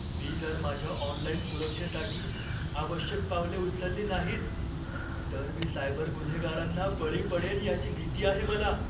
मी जर माझ्या ऑनलाइन सुरक्षेसाठी आवश्यक पावले उचलली नाहीत, तर मी सायबर गुन्हेगारांना बळी पडेन याची भीती आहे मला.